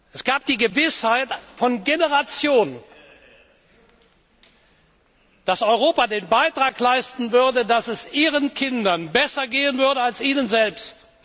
Es gab die Gewissheit von Generationen, dass Europa den Beitrag leisten würde, dass es ihren Kindern besser gehen würde, als ihnen selbst.